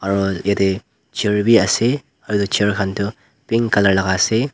aru yatte chair bhi ase aru chair khan tu pink colour laga ase.